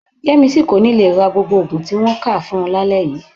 Yẹ́misí kò ní le ra gbogbo òògùn tí wọ́n kà fún un lálẹ́ yii